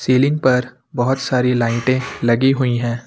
Ceiling पर बहुत सारी लाइटे लगी हुई है।